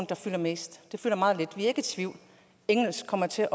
der fylder mest den fylder meget lidt vi er ikke i tvivl engelsk kommer til